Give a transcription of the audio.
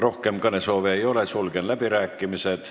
Rohkem kõnesoove ei ole, sulgen läbirääkimised.